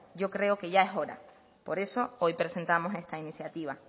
yo creo que ya es hora por eso hoy presentamos esta iniciativa